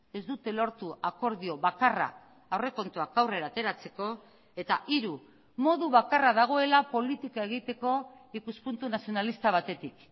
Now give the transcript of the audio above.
ez dute lortu akordio bakarra aurrekontuak aurrera ateratzeko eta hiru modu bakarra dagoela politika egiteko ikuspuntu nazionalista batetik